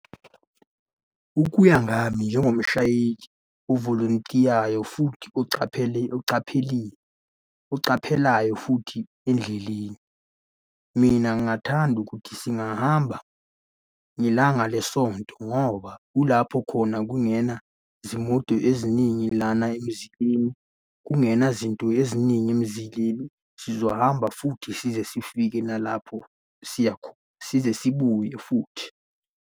Ukuya ngami njengomshayeli ovolontiyayo futhi ocaphelile, ocaphelayo futhi endleleni. Mina ngingathanda ukuthi singahamba ngelanga lesonto ngoba kulapho khona kungena izimoto eziningi lana emzileni, kungena zinto eziningi emzileni. Sizohamba futhi size sifike nalapho siyakhona, size sibuye futhi.